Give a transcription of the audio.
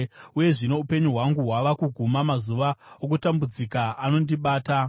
“Uye zvino upenyu hwangu hwava kuguma; mazuva okutambudzika anondibata.